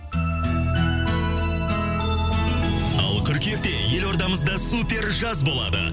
ал қырқүйекте елордамызда супер жаз болады